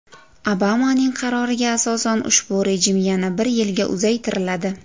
Obamaning qaroriga asosan ushbu rejim yana bir yilga uzaytiriladi.